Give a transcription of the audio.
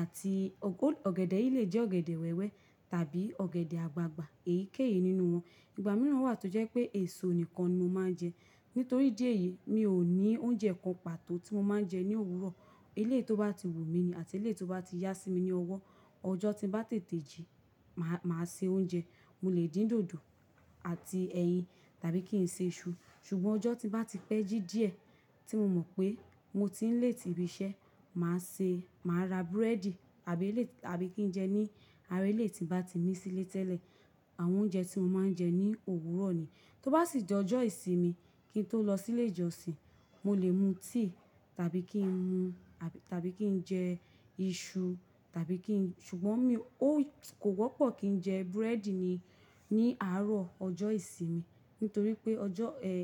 àti o ọ̀gẹ̀dẹ̀ yìí lè jẹ́ ọ̀gẹ̀dẹ̀ wẹ́wẹ́ tàbí ọ̀gẹ̀dẹ̀ àgbagbà èyíkéyìí nínú wọn. Ìgbà mìíràn wà tó jẹ́ pé èso nìkan ni mo máa ń jẹ. Nítorí díẹ̀ yìí mi ò ní oúnjẹ kan pàtó tí mo máa ń jẹ ní òwúrọ̀. Eléyìí tó bá ti wù mí ni àti eléyìí tó bá ti yá sí mi ni ọwọ́. Ọjọ́ tí n bá tètè jí máa, máa se oúnjẹ. Mo lè dín dòdò àti ẹyin tàbí kí n se iṣu. Ṣùgbọ́n ọjọ́ tí bá ti pẹ́ jí díẹ̀ tí mo mọ̀ pé mo ti ń late ibi iṣẹ́, màá se, màá ra búrẹ́dì àbí lè, àbí kí n jẹ ní ara eléyìí tí n bá ti ní sílé tẹ́lẹ̀. Àwọn oúnjẹ tí mo máa ń jẹ ní òwúrọ̀ ni. Tó bá sì j'ọ́ Ọjọ́ ìsinmi kí n tó lọ sílé ìjọsìn, mo lè mu tíì tàbí kí n mu, tàbí kí n jẹ iṣu tàbí kí n-- ṣùgbọ́n mi ò, kò wọ́pọ̀ kí n jẹ búrẹ́dì ni, ní àárọ̀ ọjọ́ ìsinmi nítorí pé ọjọ́ ẹ.